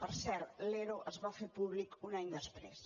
per cert l’ero es va fer públic un any després